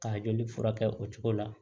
Ka joli furakɛ o cogo la